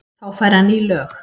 Þá fær hann ný lög.